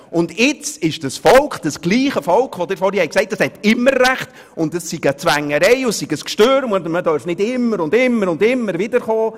Und nun wird dasselbe Volk angeführt, von dem Sie vorhin gesagt haben, es habe immer recht, das sei eine Zwängerei, ein Durcheinander, und man dürfe nicht immer und immer wieder mit denselben Dingen kommen.